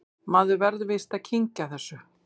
Maður verður víst að kyngja þessu